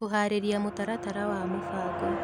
Kũhaarĩria mũtaratara wa mũbango